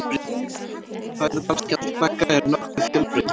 Fæðuval skjaldbaka er nokkuð fjölbreytilegt.